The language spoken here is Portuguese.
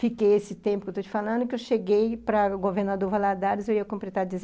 Fiquei esse tempo que estou te falando, que eu cheguei para o Governador Valadares, eu ia completar deze